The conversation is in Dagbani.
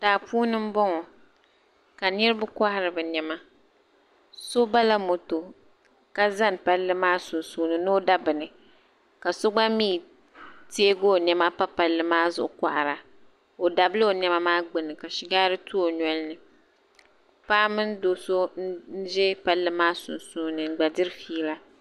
Daa puuni m boŋɔ ka niriba kohari bɛ niɛma so bala moto ka zani palli maa sunsuuni ni o da bini ka so gba mee teegi o niɛma pa palli maa zuɣu kohara o dabla o niɛma maa gbini ka shigari tu o nolini paɣa mini do'so n ʒi palli maa sunsuuni n gba diri fiila.